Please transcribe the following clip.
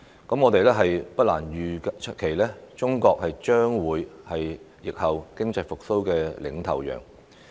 我們不難預期，中國將會是疫後經濟復蘇的"領頭羊"。